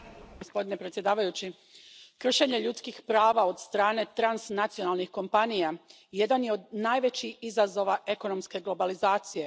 Gospodine predsjedavajući, kršenje ljudskih prava od strane transnacionalnih kompanija jedan je od najvećih izazova ekonomske globalizacije.